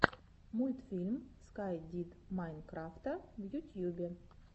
мультфильм скай дид майнкрафта в ютьюбе